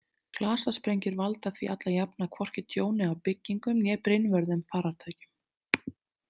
Klasasprengjur valda því alla jafna hvorki tjóni á byggingum né brynvörðum farartækjum.